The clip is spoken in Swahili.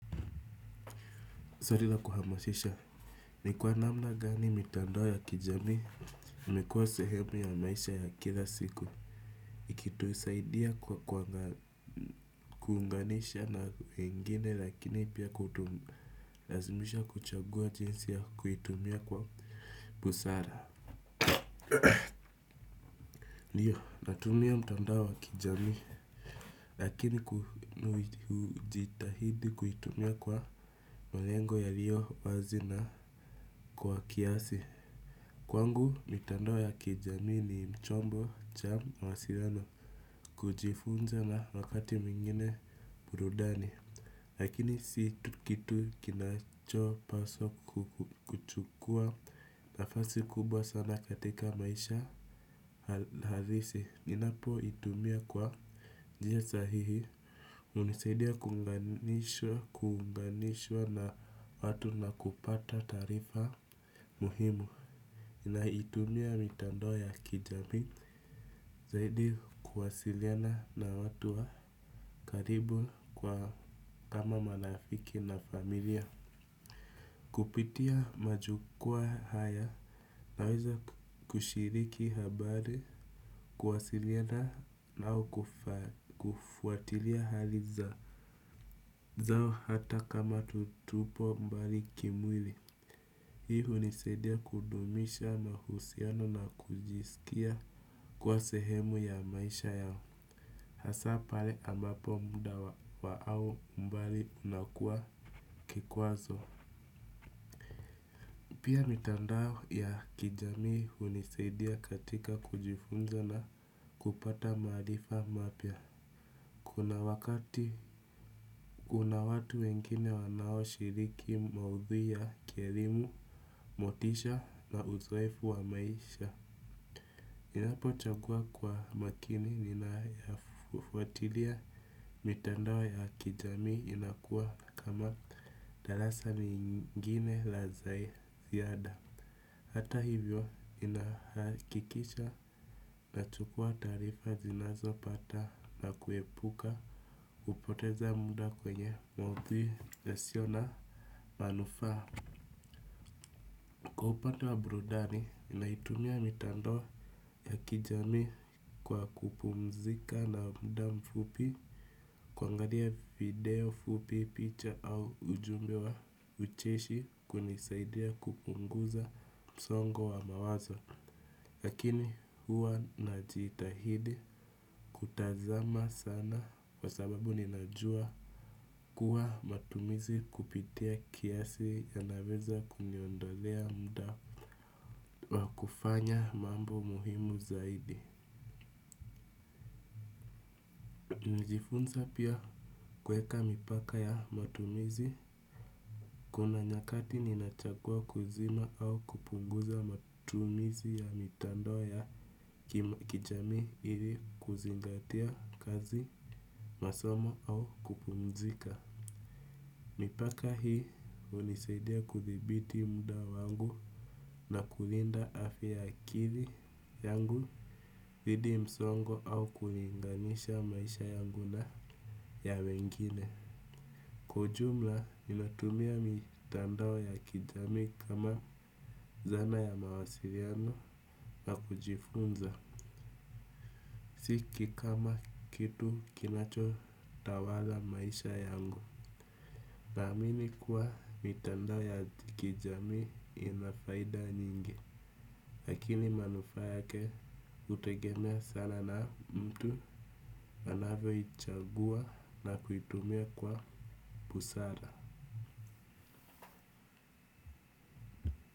Swali la kuhamashisha. Ni kwa namna gani mitandao ya kijamii. Imekuwa sehemu ya maisha ya kila siku. Ikitusaidia kuungana na wengine, lakini pia kutulazimisha kuchagua jinsi ya kuitumia kwa busara. Ndiyo, natumia mtandao ya kijamii. Lakini hujitahidi kuitumia kwa malengo yaliyo wazi na kwa kiasi. Kwangu mitandao ya kijamii ni chombo cha mawasiliano, kujifunza na wakati mwingine burudani. Lakini si kitu kinachopaswa kuchukua nafasi kubwa sana katika maisha. Halisi inapotumiwa kwa njia sahihi, hunisaidia kuunganishwa na watu na kupata taarifa muhimu, inatumia mitandao ya kijamii. Zaidi kuwasiliana na watu wa karibu kwa kama marafiki na familia. Kupitia majukwaa haya naweza kushiriki habari, kuwasiliana au kufuatilia hali zao hata kama tuko mbali kimwili. Hii hunisaidia kudumisha mahusiano na kujisikia kuwa sehemu ya maisha yao. Hasa pale ambapo muda wao au mbali unakua kikwazo. Pia mitandao ya kijamii hunisaidia katika kujifunza na kupata maarifa mapya. Kuna wakati watu wengine wanaoshiriki maudhui ya kielimu, motisha na uzoefu wa maisha. Ninapochagua kwa makini ninayoyafuatilia, mitandao ya kijamii inakuwa kama darasa lingine la ziada. Hata hivyo, ninahakikisha ninachukua taarifa ninazopata na kuepuka kupotea kwenye maudhui yasiyo na manufaa. Kwa upande wa burudani, ninatumia mitandao ya kijamii kwa kupumzika kwa muda mfupi, kutazama video fupi, picha au ujumbe wa ucheshi, kunanisaidia kupunguza msongo wa mawazo. Lakini huwa najitahidi kutotazama sana, kwa sababu ninajua kuwa matumizi kupita kiasi yanaweza kuniondolea muda wa kufanya mambo muhimu zaidi. Nijifunza pia kweka mipaka ya matumizi. Kuna nyakati ninachukua hatua ya kuzima au kupunguza matumizi ya mitandao ya kijamii ili kuzingatia kazi, masomo au kupumzika. Mipaka hii hunisaidia kudhibiti muda wangu na kulinda afya ya akili yangu. Dhidi ya msongo au kulinganisha maisha yangu na ya wengine. Kwa ujumla, ninatumia mitandao ya kijamii kama zana ya mawasiliano na kujifunza. Siweki kama kitu kinachotawala maisha yangu. Naamini kuwa mitandao ya kijamii ina faida nyingi. Lakini manufaa yake yanategemea sana jinsi mtu anavyoichagua na kuitumia kwa busara.